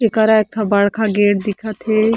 एकरा एक ठ गेट दिखत हे।